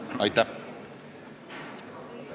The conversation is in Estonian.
Aitäh!